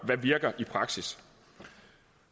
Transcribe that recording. der virker i praksis